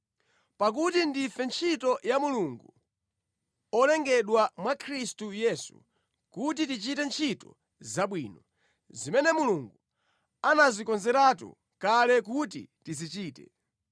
Pakuti ndife ntchito ya Mulungu, olengedwa mwa Khristu Yesu kuti tichite ntchito zabwino, zimene Mulungu anazikonzeratu kale kuti tizichite.